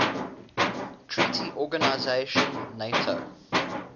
treaty organisation nato